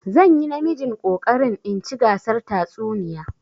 Zan yi namijin ƙoƙarin in ci gasar tatsuniya.